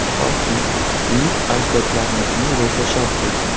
Toki, buyuk ajdodlarimizning ruhi shod bo‘lsin.